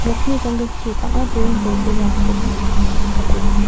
nokni janggilchi bang·a buring-bolgrimrangkoba nikatenga.